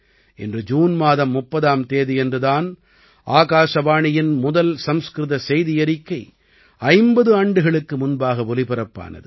இன்று ஜூன் மாதம் 30ஆம் தேதியன்று தான் ஆகாசவாணியின் முதல் சம்ஸ்கிருத செய்தியறிக்கை 50 ஆண்டுகளுக்கு முன்பாக ஒலிபரப்பானது